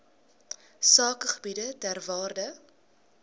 sakegebiede ter waarde